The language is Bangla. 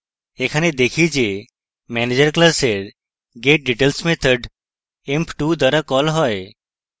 এখানে দেখি যে manager class getdetails method emp2 দ্বারা কল হয়